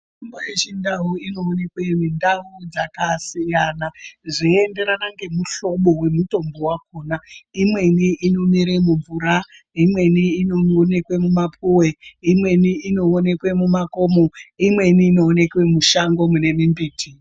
Mishonga yechindau inoonekwe mundau dzakasiyana siyana. Zveienderana ngemuhlobo wemutombo wakhona .Imweni inomera mumvura, imweni inoonekwa mumapuwe, imweni inoonekwa mumakomo , imweni inoonekwa mushango mune mimbiti.